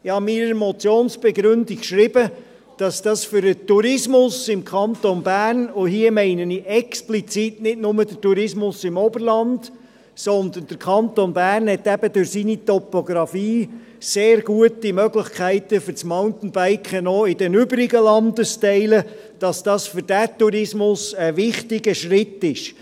Ich habe in meiner Motionsbegründung geschrieben, dass dies für den Tourismus im Kanton Bern ein wichtiger Schritt ist – und hier meine ich explizit nicht nur den Tourismus im Oberland, sondern der Kanton Bern hat eben durch seine Topografie auch in den übrigen Landesteilen sehr gute Möglichkeiten für das Mountainbiken.